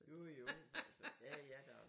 Jo jo altså ja ja